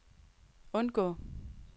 undgå